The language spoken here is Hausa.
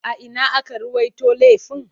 A ina aka ruwaito laifin?